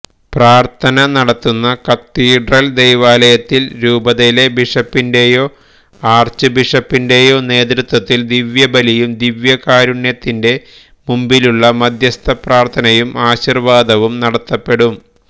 പ്രാർഥന നടത്തുന്ന കത്തീഡ്രൽ ദൈവാലയത്തിൽ രൂപതയിലെ ബിഷപ്പിന്റെയോ ആർച്ച്ബിഷപ്പിന്റെയോ നേതൃത്വത്തിൽ ദിവ്യബലിയും ദിവ്യകാരുണ്യത്തിന്റെ മുമ്പിലുള്ള മധ്യസ്ഥപ്രാർഥനയും ആശീർവാദവും നടത്തപ്പെടും